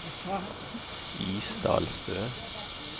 Isdalstø